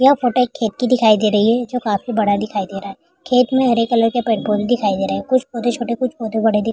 ये फोटो एक खेत की दिखाई दे रही है जो काफी बड़ा दिखाई दे रहा है। खेत मे हरे कलर के दिखाई दे रहे हैं। कुछ छोटे-छोटे कुछ पौधे बड़े --